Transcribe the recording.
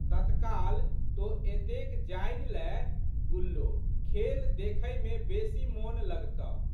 तत्काल तोँ एतेक जानि लएह गुल्लो, खेल देखैमे बेशी मोन लगतह।